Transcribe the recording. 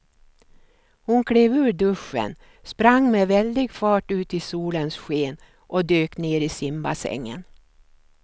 Hon klev ur duschen, sprang med väldig fart ut i solens sken och dök ner i simbassängen.